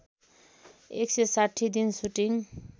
१६० दिन सुटिङ